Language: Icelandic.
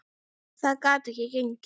Það gat ekki gengið.